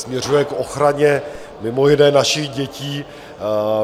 Směřuje k ochraně mimo jiné našich dětí.